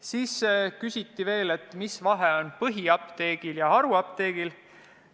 Siis küsiti veel, mis vahe on põhiapteegil ja haruapteegil.